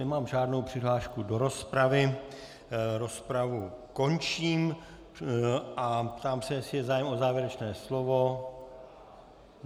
Nemám žádnou přihlášku do rozpravy, rozpravu končím a ptám se, jestli je zájem o závěrečné slovo.